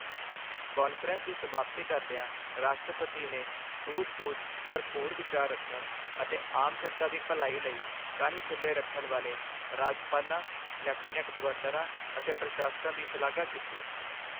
Conference ਦੀ ਸਮਾਪਤੀ ਕਰਦਿਆਂ ਰਾਸ਼ਟਰਪਤੀ ਨੇ ਸੂਝ-ਬੂਝ ਭਰਪੂਰ ਵਿਚਾਰ ਰੱਖਣ ਅਤੇ ਆਮ ਜਨਤਾ ਦੀ ਭਲਾਈ ਲਈ ਕੰਨ ਖੁੱਲ੍ਹੇ ਰੱਖਣ ਵਾਲੇ ਰਾਜਪਾਲਾਂ ਲੈਫ਼ਟੀਨੈਂਟ ਗਵਰਨਰਾਂ ਅਤੇ ਪ੍ਰਸ਼ਾਸਕਾਂ ਦੀ ਸ਼ਲਾਘਾ ਕੀਤੀ।